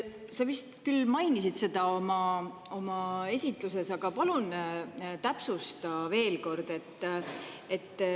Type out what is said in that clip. Sa vist küll mainisid seda oma esitluses, aga palun täpsusta veel kord.